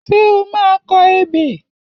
Ṣé o máa kọ ebè?